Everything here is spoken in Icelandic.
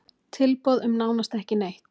Tilboð um nánast ekki neitt